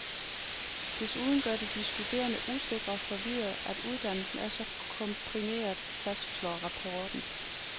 Desuden gør det de studerende usikre og forvirrede, at uddannelsen er så komprimeret, fastslår rapporten.